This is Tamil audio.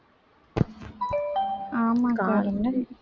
ஆமா அக்கா